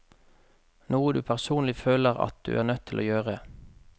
Noe du personlig føler at du er nødt til å gjøre.